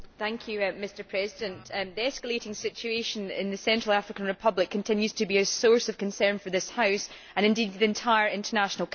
Mr President, the escalating situation in the Central African Republic continues to be a source of concern for this House and indeed the entire international community.